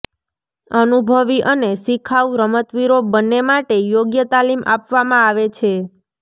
અનુભવી અને શિખાઉ રમતવીરો બંને માટે યોગ્ય તાલીમ આપવામાં આવે છે